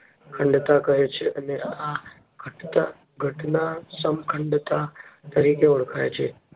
ખંડતા કહે છે. અને આ ઘટના સમખંડતા તરીકે ઓળખાય છે.